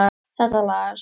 Þetta lagast.